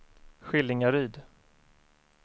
Skillingaryd